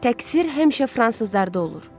Təqsir həmişə fransızlarda olur.